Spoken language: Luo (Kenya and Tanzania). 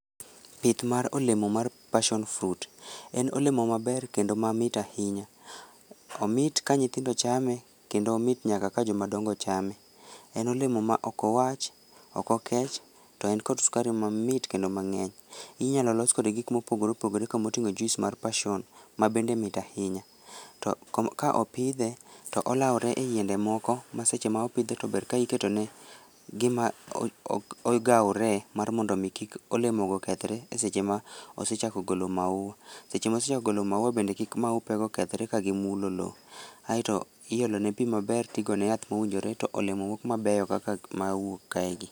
Pith mar olemo mar passion en olemo maber kendo mamit ahinya omit ka nyithiindo chame kendo omit nyaka ka jomadongo chame, en olemo ma okowach, okokech, kendo en kod sukari mamit kendo mang'eny, inyalolos kode gik mopogore opogore kumoting'o juice mar passion ma bende mit ahinya to ka opidhe to olaore e yiende moko ma seche ma opidhe to onego ni iketone gima ogaore mar mondo mi kik olemogo kethre seche ma osechako golo maua , seche ma osechako golo maua bende kik mauipe go kethre ka gimulo loo aeto iolone pii maber to igone yath ma owinjore to olemo wuok mabeyo kaka ma owuok kae gi